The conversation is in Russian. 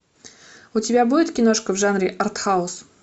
у тебя будет киношка в жанре артхаус